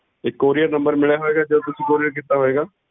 ਇਕ couriernumber ਮਿਲਿਆ ਹੋਏਗਾ ਜਦੋਂ ਤੁਸੀਂ courier ਕੀਤਾ ਹੋਏਗਾ